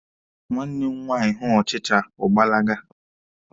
Nwanne m nwaanyị hụ ọchịcha, ọ gbalaga.